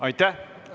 Aitäh!